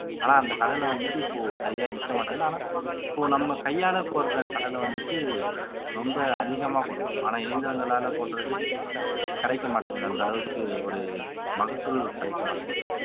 ஆனா அந்த கடலை வந்துட்டு இப்போ சரியா நிக்க மாட்டேங்குது ஆனா இப்போ நம்ம கையால போடுற கடலை வந்துட்டு ரொம்ப அதிகமா கொடுக்கும் ஆனா இயந்திரங்களாலே போடுறது கிடைக்க மாட்டேங்குது அந்த அளவுக்கு ஒரு மகசூல் கிடைக்க மாட்டேங்குது